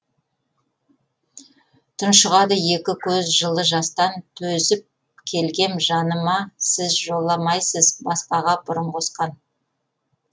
тұншығады екі көз жылы жастан төзіп келгем жаныма сіз жоламайсыз басқаға бұрын қосқан